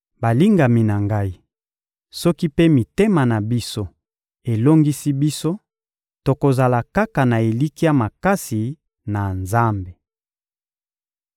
Balingami na ngai, soki mpe mitema na biso elongisi biso, tokozala kaka na elikya makasi na Nzambe.